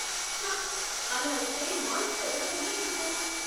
ఛ! అలా అయితే మాల్స్ తెరవటమే ఎందుకు?